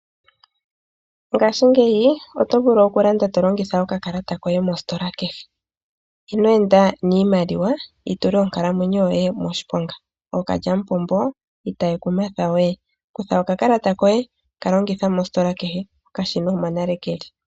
Ngaashingeyi oto vulu oku landa to longitha okakalata koye mositola kehe. Ino enda niimaliwa yi tule onkalamwenyo yoye moshiponga.. Ookalyamupombo itaye ku mathawe, kutha okakalata koye okashina omo nale keli.